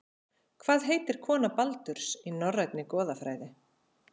Hvað heitir kona Baldurs, í Norrænni goðafræði?